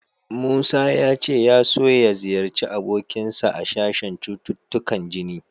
Musa ya ce ya so ya ziyarci abokinsa a sashen cututtukan jini.